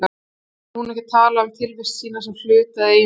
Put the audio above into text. Samt getur hún ekki talað um tilvist sína sem hlut eða eiginleika.